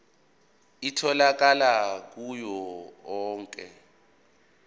itholakala kuwo onke